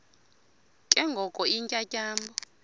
ke ngoko iintyatyambo